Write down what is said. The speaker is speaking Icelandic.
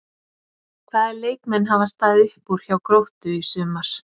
Hvaða leikmenn hafa staðið upp úr hjá Gróttu í sumar?